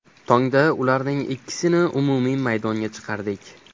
Tongda ularning ikkisini umumiy maydonga chiqardik.